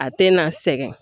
A tɛ na sɛgɛn